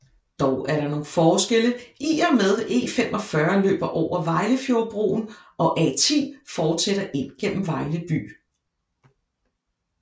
Dog er der nogle forskelle i og med E45 løber over Vejlefjordbroen og A10 fortsætter ind gennem Vejle by